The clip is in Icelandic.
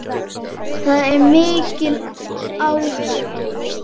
Það er mikill áhugi.